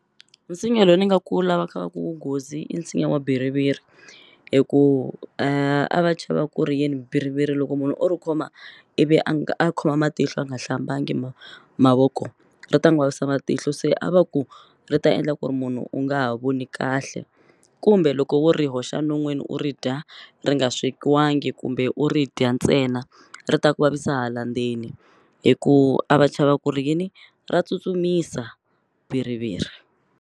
Nsinya lowu ni nga ku lavaka ku wu nghozi i nsinya wa bhiriviri hi ku a va chava ku ri yini bhiriviri loko munhu o ri khoma ivi a nga a khoma matihlo a nga hlambangi mavoko ri ta n'wu vavisa matihlo se a va ku ri ta endla ku ri munhu u nga ha voni kahle kumbe loko wo ri hoxa non'wini u ri dya ri nga swekiwangi kumbe u ri dya ntsena ri ta ku vavisa hala ndzeni hikuva a va chava ku ri yini ra tsutsumisa bhiriviri.